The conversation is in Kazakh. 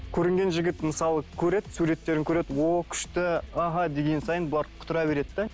көрінген жігіт мысалы көреді суреттерін көреді ооо күшті аха деген сайын бұлар құтыра береді де